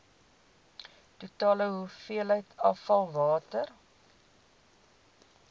totale hoeveelheid afvalwater